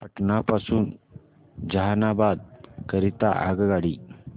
पटना पासून जहानाबाद करीता आगगाडी